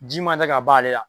Ji ma tɛ ka ban ale la.